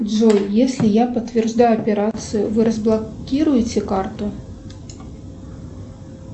джой если я подтверждаю операцию вы разблокируете карту